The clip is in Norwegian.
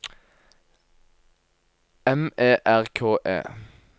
M E R K E